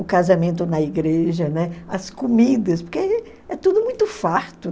O casamento na igreja, né, as comidas, porque é tudo muito farto.